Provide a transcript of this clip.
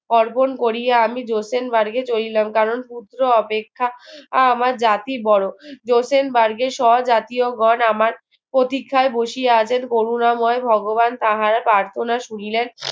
অর্পণ কোরিয়া আমি johsen burg চলিলাম কারণ পুত্র অপেক্ষা আমার জাতি বোরো johsen burg এর স্বজাতিওগণ আমার প্রতীক্ষায় বসিয়া আছেন করুনাময় ভগবান তাহার প্রার্থনা শুনিলেন